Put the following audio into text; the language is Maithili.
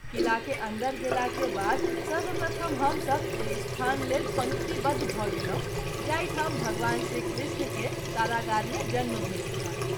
किला के अन्दर गेला के बाद सर्वप्रथम हम सभ ओहि स्थान लेल पंक्ति बद्ध भ’ गेलहुँ जाहि ठाम भगवान श्री कृष्ण के कारागार मे जन्म भेल छल।